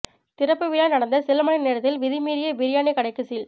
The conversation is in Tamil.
திறப்பு விழா நடந்த சில மணி நேரத்தில் விதிமீறிய பிரியாணி கடைக்கு சீல்